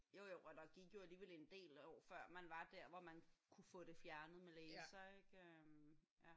Jo jo og der gik jo alligevel en del år før hvor man var der hvor man kunne få det fjernet med laser ik?